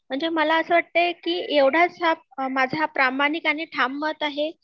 म्हणजे मला असं वाटतंय कि एवढाच हा माझा प्रामाणिक आणि ठाम मत आहे